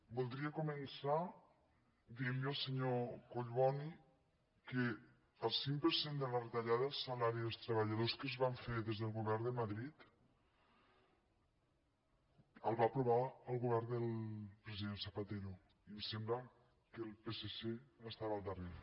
voldria començar dient li al senyor collboni que el cinc per cent de la retallada del salari dels treballadors que es van fer des del govern de madrid el va aprovar el govern del president zapatero i em sembla que el psc estava al darrere